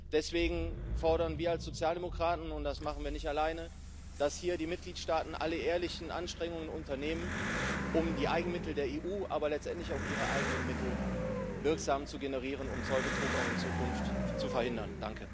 Deswegen fordern wir als Sozialdemokraten und das machen wir nicht alleine dass hier die Mitgliedstaaten alle ehrlichen Anstrengungen unternehmen, um die Eigenmittel der EU, aber letztendlich auch ihre eigenen Mittel wirksam zu generieren, um Zollbetrug auch in Zukunft zu verhindern.